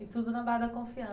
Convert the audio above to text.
E tudo na base da